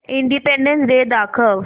independence Day दाखव